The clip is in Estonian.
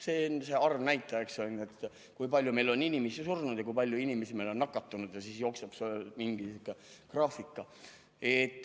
See arvnäitaja, kui palju meil on inimesi surnud ja kui palju inimesi meil on nakatunud, ja siis jookseb mingi graafika.